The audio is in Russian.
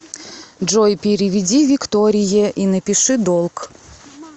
джой переведи викторие и напиши долг